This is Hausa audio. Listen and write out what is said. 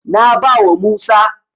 Na bawa Musa.